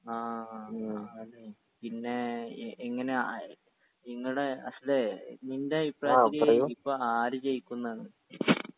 ആ പിന്നെ ഇ ഇങ്ങനെ ആയ് ഇങ്ങനെ അഷ്‌ലെ നിന്റെ അയിപ്രായത്തിൽ ഇപ്പൊ ആര് ജയിക്കും ന്നാണ്